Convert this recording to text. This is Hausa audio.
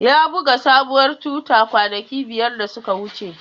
Ya buga sabuwar tuta kwanaki biyar da suka wuce.